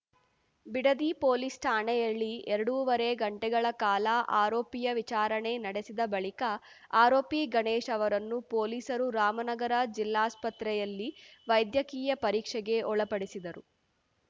Bidadi police ಠಾಣೆಯಲ್ಲಿ ಎರಡೂವರೆ ಗಂಟೆಗಳ ಕಾಲ ಆರೋಪಿಯ ವಿಚಾರಣೆ ನಡೆಸಿದ ಬಳಿಕ ಆರೋಪಿ ಗಣೇಶ್‌ ಅವರನ್ನು ಪೊಲೀಸರು ರಾಮನಗರ ಜಿಲ್ಲಾಸ್ಪತ್ರೆಯಲ್ಲಿ ವೈದ್ಯಕೀಯ ಪರೀಕ್ಷೆಗೆ ಒಳಪಡಿಸಿದರು